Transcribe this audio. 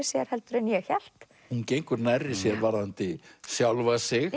sér heldur en ég hélt hún gengur nærri sér varðandi sjálfa sig